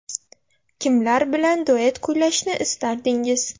Kimlar bilan duet kuylashni istardingiz?